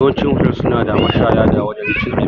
Yawancin hotel suna da mashaya da wajan cin abinci